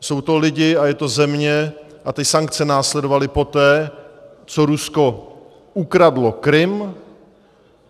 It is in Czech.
Jsou to lidé a je to země a ty sankce následovaly poté, co Rusko ukradlo Krym.